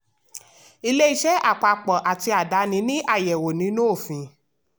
ilé iṣẹ́ àpapọ̀ àti àdáni ní àyẹ̀wò nínú òfin.